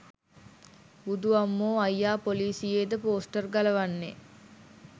බුදු අම්මෝ අයියා පොලිසියේ ද පෝස්ටර් ගලවන්නේ?